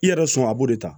I yɛrɛ sɔn a b'o de ta